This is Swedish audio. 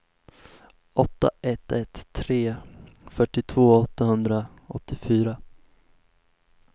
åtta ett ett tre fyrtiotvå åttahundraåttiofyra